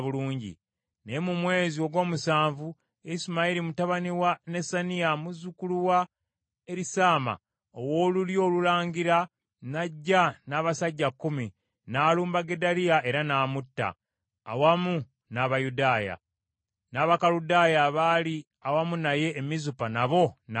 Naye mu mwezi ogw’omusanvu, Isimayiri mutabani wa Nesaniya, muzzukulu wa Erisaama ow’olulyo olulangira n’ajja n’abasajja kkumi, n’alumba Gedaliya era n’amutta, awamu n’Abayudaaya; n’Abakaludaaya abaali awamu naye e Mizupa nabo n’abatta.